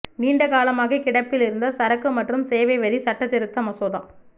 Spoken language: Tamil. நீண்டகாலமாக கிடப்பில் இருந்த சரக்கு மற்றும் சேவை வரி சட்டத்திருத்த மசோதா